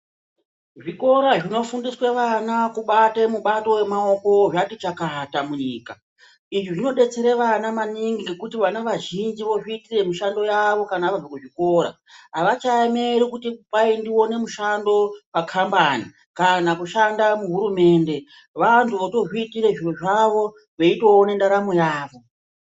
Zvikora zvinofundiswe vana kubate mubato wemaoko zvati chakata munyika, izvi zvinodetsere vana maningi ngekuti vana vazhinji vozviitire mishando yavo kana vabva kuzvikora, havachaeneri kuti ndiwane mushando pakambani kana kushanda muhurumende, vantu votozviitire zvinhu zvavo vechitoone ntaramo yavo.